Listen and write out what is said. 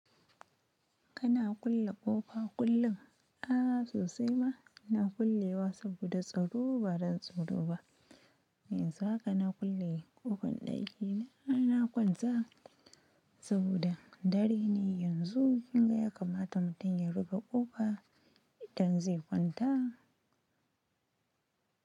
Kana kulle ƙofa kullum? A'a sosai ma ina kullewa saboda tsaro ba don tsoro ba. Yanzu haka na kulle ƙofar ɗaki na, kuma na kwanta saboda dare ne. Yanzu kinga ya kamata mutum ya rufe ƙofa idan zai kwanta.